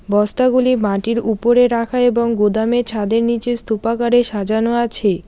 বস্তাগুলি মাটির উপরে রাখা এবং গুদামে ছাদের নীচে স্তুপাকারে সাজানো আছে।